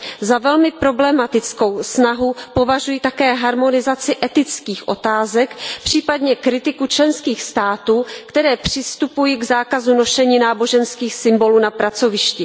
Za velmi problematickou snahu považuji také harmonizaci etických otázek, případně kritiku členských států, které přistupují k zákazu nošení náboženských symbolů na pracovišti.